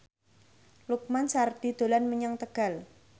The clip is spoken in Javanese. Lukman Sardi dolan menyang Tegal